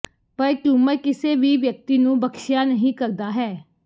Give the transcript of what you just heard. ਪਰ ਟਿਊਮਰ ਕਿਸੇ ਵੀ ਵਿਅਕਤੀ ਨੂੰ ਬਖਸ਼ਿਆ ਨਹੀ ਕਰਦਾ ਹੈ